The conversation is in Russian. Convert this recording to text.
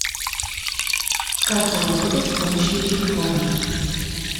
как заработать с помощью телефона